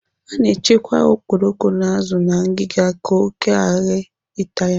A na-echekwa okporoko na azụ na ngiga ka oké ghara ịta ya